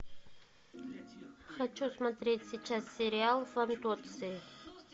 хочу смотреть сейчас сериал фантоцци